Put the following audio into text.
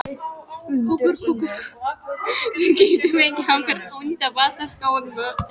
Við getum fengið hann fyrir ónýta vasadiskóið mitt.